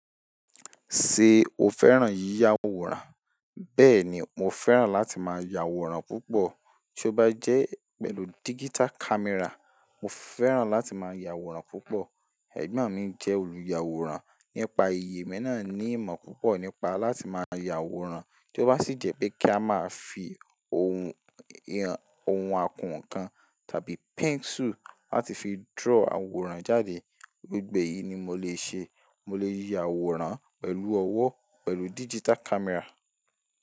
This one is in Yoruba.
Ṣe o fẹ́ràn yíyá àwòrán? Bẹ́ẹ̀ni, mo fẹ́ràn láti máa ya àwòrán púpọ̀. Tí ó bá jẹ́ pẹ̀lú digital camera, mo fẹ́ràn láti máa ya àwòrán púpọ̀. Ẹ̀gbọ́n mi jẹ́ olùyàwòrán. Nípa iyii, emi náà ní ìmọ̀ púpọ̀ nípa láti máa ya àwòrán. Tí ó bá sì jẹ́ pé kí a máa fi ohun, ohun akọ́wọn kan tàbí pencil láti fi draw àwòrán jáde. Gbogbo eyìí ni mo lè ṣe. Mo lè yíya àwòrán pẹ̀lú ọwọ́, pẹ̀lú digital camera.